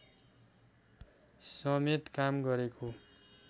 समेत काम गरेको